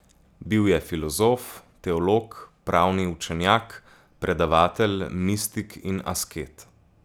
Bil je filozof, teolog, pravni učenjak, predavatelj, mistik in asket.